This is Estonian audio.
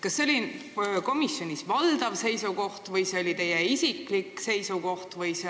Kas see oli valdav seisukoht komisjonis või teie isiklik seisukoht?